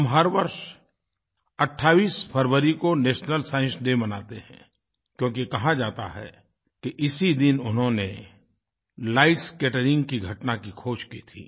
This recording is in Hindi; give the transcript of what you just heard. हम हर वर्ष 28 फ़रवरी को नेशनल साइंस डे मनाते हैं क्योंकि कहा जाता है कि इसी दिन उन्होंने लाइट स्कैटरिंग की घटना की ख़ोज की थी